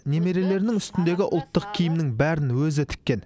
немерелерінің үстіндегі ұлттық киімнің бәрін өзі тіккен